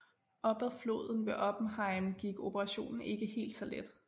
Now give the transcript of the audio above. Op ad floden ved Oppenheim gik operationen ikke helt så let